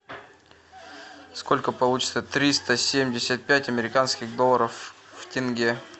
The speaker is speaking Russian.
сколько получится триста семьдесят пять американских долларов в тенге